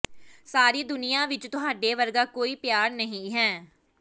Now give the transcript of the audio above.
ਸਾਰੀ ਦੁਨੀਆਂ ਵਿਚ ਤੁਹਾਡੇ ਵਰਗਾ ਕੋਈ ਪਿਆਰ ਨਹੀਂ ਹੈ